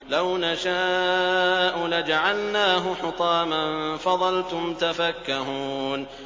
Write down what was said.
لَوْ نَشَاءُ لَجَعَلْنَاهُ حُطَامًا فَظَلْتُمْ تَفَكَّهُونَ